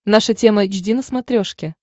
наша тема эйч ди на смотрешке